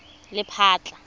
lephatla